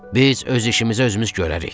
Biz öz işimizə özümüz görərik.